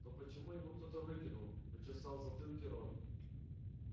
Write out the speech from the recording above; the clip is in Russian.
но почему его кто-то выкинул почесал в затылке рон